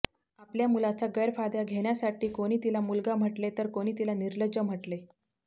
आपल्या मुलाचा गैरफायदा घेण्यासाठी कोणी तीला मुलगा म्हटले तर कुणी तीला निर्लज्ज म्हटले